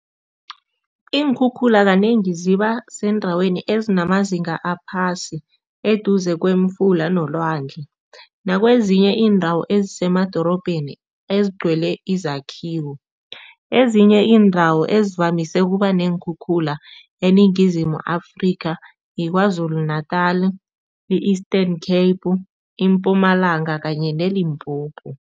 Iinkhukhula kanengi zibasendaweni ezinemazinga aphasi eduze kwemifula nelwandle nakwezinye iindawo ezisemadorobheni ezigcwele izakhiwo. Ezinye iindawo ezivamise ukuba neenkhukhula eNingizimu Afrika yiKwaZulu Natal, i-Eastern Cape, iMpumalanga kanye neLimpopo.